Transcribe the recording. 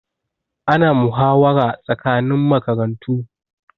Ana muhawara tsakanin makarantu